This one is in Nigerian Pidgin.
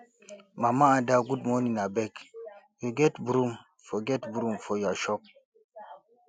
mama ada good morning abeg you get broom for get broom for your shop